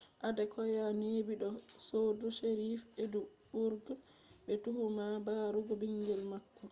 adekoya neebi do kotu sheriff edinburgh be tuhuma barugo bingel maako